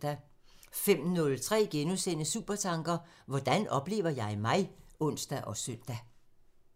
05:03: Supertanker: Hvordan oplever jeg mig? *(ons og søn)